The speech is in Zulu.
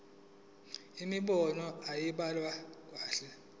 imibono ayibhaliwe kahle